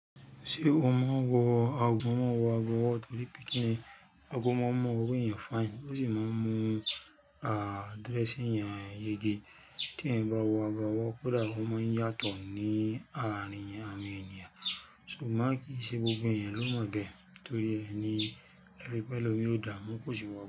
Ṣé o mọ wọ̀ aago? Mọ́mo wọ̀ ago wó torí pe kini, ago máa mu owó ẹyàn fine, ó sì máa mu addressing ẹyàn yege. Tí eeyan bá wọ̀ abe owo, koda o máa ń yàtọ̀ ní àárín awon ènìyàn, ṣùgbọ́n kì í ṣe gbogbo ẹyàn ló mọ bẹ́ẹ̀ torí rẹ ni, ẹri pẹ̀lomi kóò dàámú kò sì wọ̀ bẹ́ẹ̀